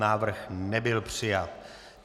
Návrh nebyl přijat.